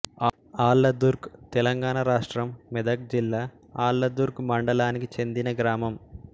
ఆళ్ళదుర్గ్ తెలంగాణ రాష్ట్రం మెదక్ జిల్లా ఆళ్లదుర్గ్ మండలానికి చెందిన గ్రామం